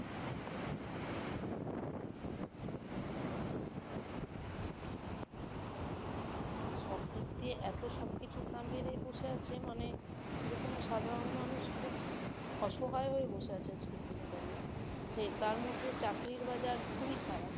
মানে সবদিক দিয়ে এত সবকিছুর দাম বেড়ে বসে আছে মানে যে কোনো সাধারণ মানুষ খুব অসহায় হয়ে বসে আছে আজকের দিনে দাঁড়িয়ে তার মধ্যে চাকরির বাজার খুবই খারাপ